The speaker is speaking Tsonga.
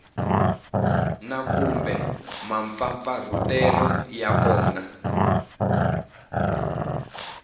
na kumbe mampfampfarhutelo ya kona